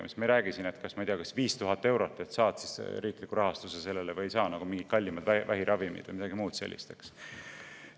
Me ei räägi siin 5000 eurost ja sellest, kas saad sellele riikliku rahastuse või ei saa, nagu mingite kallimate vähiravimite või muude asjade puhul.